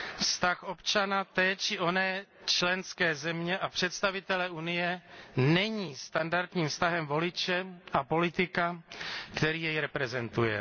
Vztah občana té či oné členské země a představitele Unie není standardním vztahem voliče a politika, který jej reprezentuje.